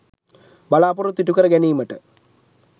බලාපොරොත්තු ඉටු කර ගැනිමට